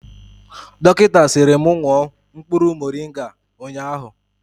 Dọkịta sịrị mụ ṅụọ mkpụrụ morịnga nga ụnyaahụ